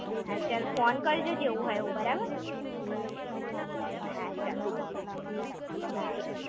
હા ચાલ ફોન કરજે જેવું હોય એવું, બરાબર. હા ચલ, bye.